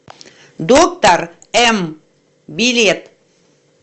доктор м билет